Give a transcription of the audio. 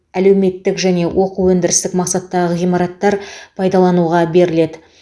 әлеуметтік және оқу өндірістік мақсаттағы ғимараттар пайдалануға беріледі